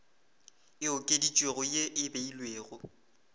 e okeditšwego ye e beilwego